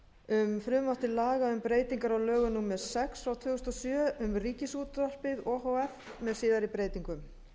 um frumvarp til laga um breytingu á lögum númer sex tvö þúsund og sjö um ríkisútvarpið o h f með síðari breytingum